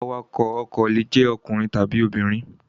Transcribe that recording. Awakọ̀ ọkọ̀ le jẹ́ ọkùnrin tàbí obìnrin.